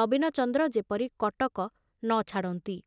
ନବୀନଚନ୍ଦ୍ର ଯେପରି କଟକ ନ ଛାଡ଼ନ୍ତି।